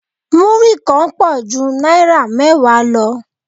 Múrí kan pọ̀ ju náírà mẹ́wàá lọ